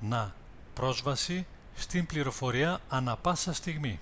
να πρόσβαση στην πληροφορία ανά πάσα στιγμή